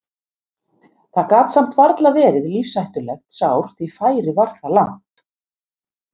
Það gat samt varla verið lífshættulegt sár því færið var það langt.